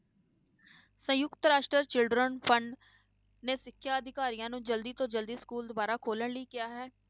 ਸੰਯੁਕਤ ਰਾਸ਼ਟਰ children fund ਨੇ ਸਿੱਖਿਆ ਅਧਿਕਾਰੀਆਂ ਨੂੰ ਜ਼ਲਦੀ ਤੋਂ ਜ਼ਲਦੀ ਸਕੂਲ ਦੁਬਾਰਾ ਖੋਲਣ ਲਈ ਕਿਹਾ ਹੈ,